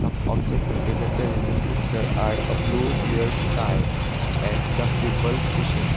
objects represented in this picture are a blue clear sky and some people fishing.